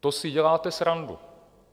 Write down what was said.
To si děláte srandu.